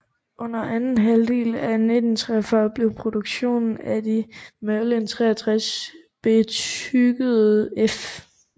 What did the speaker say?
Under anden halvdel af 1943 blev produktionen af de Merlin 63 bestykkede F